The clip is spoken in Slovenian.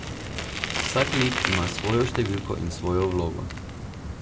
Vsak lik ima svojo številko in svojo vlogo.